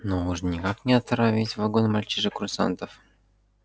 но уж никак не отравить вагон мальчишек-курсантов